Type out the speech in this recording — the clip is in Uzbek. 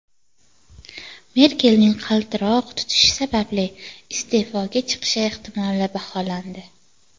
Merkelning qaltiroq tutishi sababli iste’foga chiqishi ehtimoli baholandi.